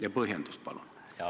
Ja põhjendus ka, palun!